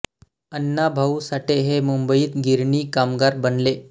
अण्णा भाऊ साठे हे मुंबईत गिरणी कामगार बनले